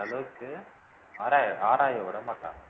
அந்த அளவுக்கு ஆராய ஆராய விட மாட்டாங்க